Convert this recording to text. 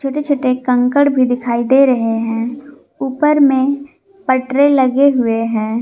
छोटे छोटे कंकड़ भी दिखाई दे रहे हैं ऊपर में पटरे लगे हुए हैं।